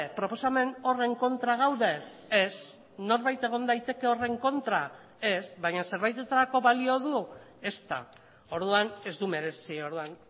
proposamen horren kontra gaude ez norbait egon daiteke horren kontra ez baina zerbaitetarako balio du ezta orduan ez du merezi orduan